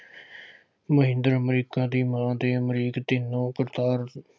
ਮਹਿੰਦਰ ਅਮਰੀਕਾ ਦੀ ਮਾਂ ਦੇ ਅਮਰੀਕ ਦੀ ਨਹੁੰ ਕਰਤਾਰ